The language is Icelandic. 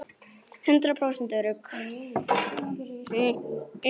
Hundrað prósent örugg!